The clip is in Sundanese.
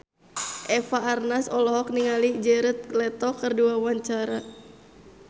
Eva Arnaz olohok ningali Jared Leto keur diwawancara